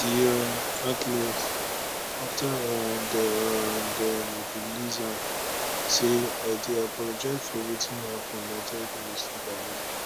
di um athlete afta um dem um dem release am say i dey apologise for wetin happun na terrible mistake i make